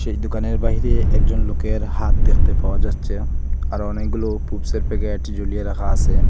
দুকানের বাহিরে একজন লোকের হাত দেখতে পাওয়া যাচ্চে আর অনেকগুলো পুপসের প্যাকেট জুলিয়ে রাখা আসে।